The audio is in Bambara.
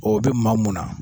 Ɔɔ o bi maa mun na.